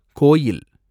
கோயில்